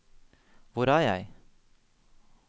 hvor er jeg